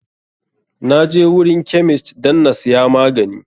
Na je wurin kemist dan na siya magani.